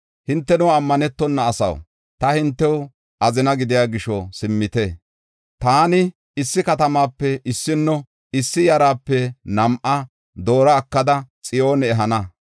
“Hinteno, ammanetona asaw, ta hintew azina gidiya gisho simmite. Taani issi katamape issinno, issi yarape nam7a doora ekada Xiyoone ehana.